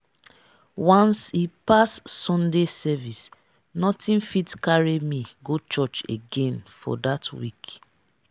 once e pass sunday service nothing fit carry me go church again for that week